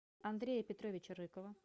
андрея петровича рыкова